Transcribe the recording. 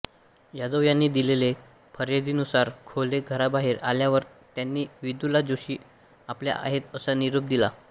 यादव यांनी दिलेल्या फिर्यादीनुसार खोले घराबाहेर आल्यावर त्यांनी विदुला जोशी आल्या आहेत असा निरोप दिला